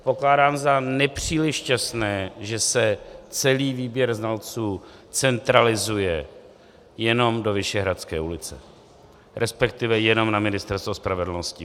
Pokládám za nepříliš šťastné, že se celý výběr znalců centralizuje jenom do Vyšehradské ulice, respektive jenom na Ministerstvo spravedlnosti.